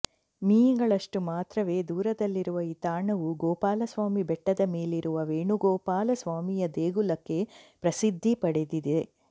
me ಗಳಷ್ಟು ಮಾತ್ರವೆ ದೂರದಲ್ಲಿರುವ ಈ ತಾಣವು ಗೋಪಾಲಸ್ವಾಮಿ ಬೆಟ್ಟದ ಮೇಲಿರುವ ವೇಣುಗೊಪಾಲ ಸ್ವಾಮಿಯ ದೇಗುಲಕ್ಕೆ ಪ್ರಸಿದ್ಧಿ ಪಡೆದಿದೆ